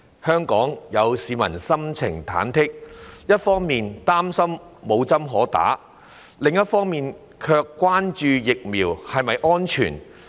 香港市民心情忐忑，一方面擔心無針可打，另一方面卻關注疫苗是否安全。